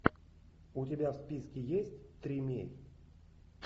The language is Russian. у тебя в списке есть тримей